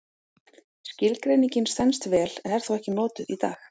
Skilgreiningin stenst vel en er þó ekki notuð í dag.